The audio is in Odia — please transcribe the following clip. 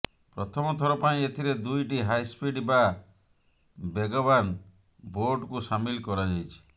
ପ୍ରଥମଥର ପାଇଁ ଏଥିରେ ଦୁଇଟି ହାଇସ୍ପିଡ ବା ବେଗବାନ୍ ବୋଟ୍କୁ ସାମିଲ୍ କରାଯାଇଛି